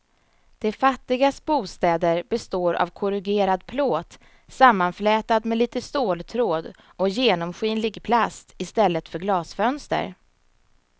De fattigas bostäder består av korrugerad plåt sammanflätad med lite ståltråd och genomskinlig plast i stället för glasfönster.